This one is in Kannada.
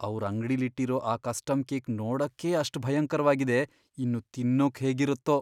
ಅವ್ರ್ ಅಂಗ್ಡಿಲಿಟ್ಟಿರೋ ಆ ಕಸ್ಟಮ್ ಕೇಕ್ ನೋಡಕ್ಕೇ ಅಷ್ಟ್ ಭಯಂಕರ್ವಾಗಿದೆ, ಇನ್ನು ತಿನ್ನೋಕ್ ಹೇಗಿರತ್ತೋ!